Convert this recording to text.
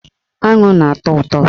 Aṅụ na-atọ ụtọ